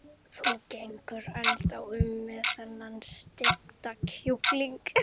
Þú gengur ennþá um með þennan steikta kjúkling.